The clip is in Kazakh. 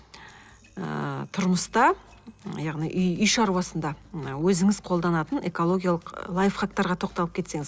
ы тұрмыста яғни үй үй шаруасында өзіңіз қолданатын экологиялық лайфхақтарға тоқталып кетсеңіз